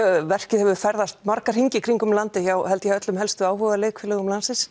verk hefur ferðast hringinn í kringum landið hjá öllum helstu áhuga leikfélögum